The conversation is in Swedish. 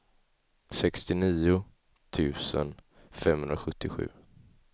sextionio tusen femhundrasjuttiosju